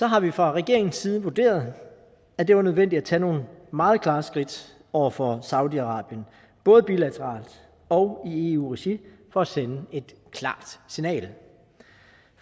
har vi fra regeringens side vurderet at det var nødvendigt at tage nogle meget klare skridt over for saudi arabien både bilateralt og i eu regi for at sende et klart signal